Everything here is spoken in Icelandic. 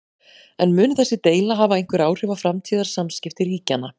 En mun þessi deila hafa einhver áhrif á framtíðar samskipti ríkjanna?